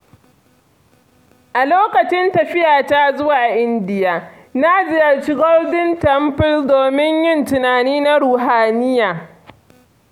A lokacin tafiyata zuwa India, na ziyarci Golden Temple domin yin tunani na ruhaniya.